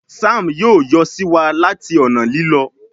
Sam yóò yọ siwa láti ọnà Lílọ